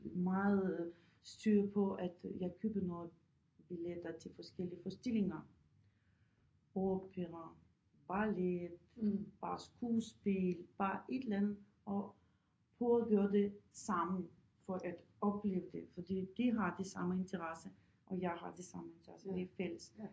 meget øh styr på at øh jeg køber noget billetter til forskellige forestillinger opera ballet bare skuespil bare et eller andet og prøve at gøre det sammen for at opleve det fordi de har det samme interesse og jeg har det samme interesse det er fælles